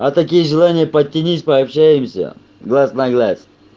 а такие желания подтянись пообщаемся глаз на глаз